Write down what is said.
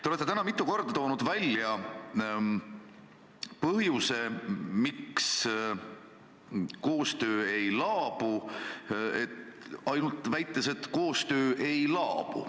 Te olete täna mitu korda toonud välja põhjuse, miks koostöö ei laabu, väites ainult seda, et koostöö ei laabu.